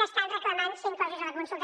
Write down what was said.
que estan reclamant ser inclosos a la consulta